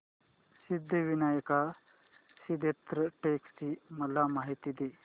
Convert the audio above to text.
सिद्धिविनायक सिद्धटेक ची मला माहिती दे